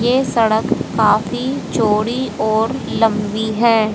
ये सड़क काफी चौड़ी और लंबी हैं।